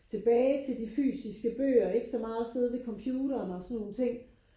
Tilbage til de fysiske bøger ikke så meget sidde ved computeren og sådan nogle ting